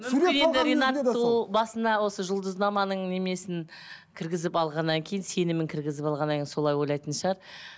ол басында осы жұлдызнаманың немесін кіргізіп алғаннан кейін сенімін кіргізіп алғаннан кейін солай ойлайтын шығар